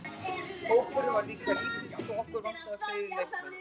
Hópurinn var líka lítill svo okkur vantaði fleiri leikmenn.